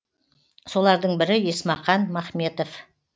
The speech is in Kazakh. солардың бірі есмақан махметов